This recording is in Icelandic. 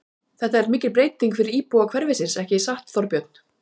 Þetta er mikil breyting fyrir íbúa hverfisins, ekki satt, Þorbjörn?